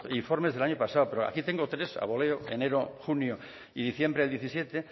informes del año pasado pero aquí tengo tres a boleo enero junio y diciembre del diecisiete